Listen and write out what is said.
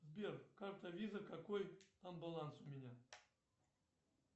сбер карта виза какой там баланс у меня